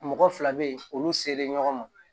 Mɔgɔ fila bɛ yen olu selen ɲɔgɔn ma